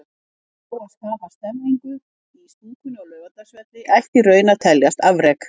Að ná að skapa stemningu í stúkunni á Laugardalsvelli ætti í raun að teljast afrek.